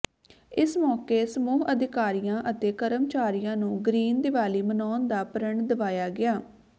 ਇਸ ਮੌਕੇ ਸਮੂਹ ਅਧਿਕਾਰੀਆਂ ਅਤੇ ਕਰਮਚਾਰੀਆਂ ਨੂੰ ਗਰੀਨ ਦੀਵਾਲੀ ਮਨਾਉਣ ਦਾ ਪ੍ਰਣ ਦਿਵਾਇਆ ਗਿਆ